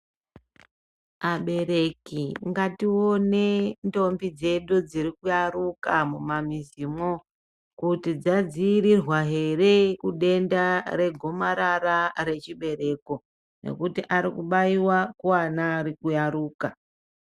Abereki ngatione ndombi dzedu dziri kuyaruka mumazimwo kuti dzadziirirwa here kudenda regomarara rechibereko nekuti ari kubaiwa kuana ari kuyaruka.